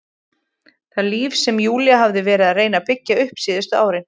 Það líf sem Júlía hafði verið að reyna að byggja upp síðustu árin.